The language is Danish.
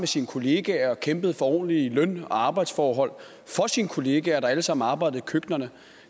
sine kollegaer og kæmpede for ordentlig løn og arbejdsforhold for sine kollegaer der alle sammen arbejdede i køkkenerne